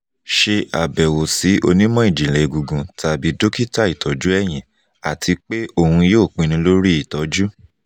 ṣe abẹwo si onimọ-jinlẹ egungun tabi dokita itọju ẹhin ati pe oun yoo pinnu lori itọju